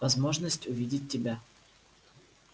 возможности увидеть тебя